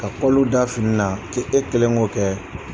Ka kɔlɔ da fini na k' e kelen k'o kɛ